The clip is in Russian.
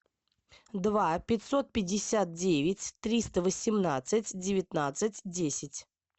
два пятьсот пятьдесят девять триста восемнадцать девятнадцать десять